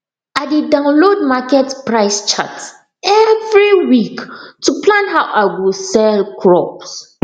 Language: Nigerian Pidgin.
i dey download market price chart every week to plan how i go sell crops